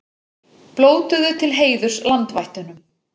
Blótuðu til heiðurs landvættunum